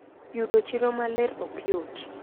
Yudo chiro maler ok yot.